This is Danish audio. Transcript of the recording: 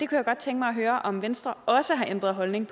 kunne godt tænke mig at høre om venstre også har ændret holdning